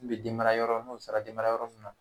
N bɛ debamarayɔrɔ n'o sara denmarayɔrɔ min na